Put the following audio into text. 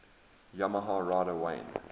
yamaha rider wayne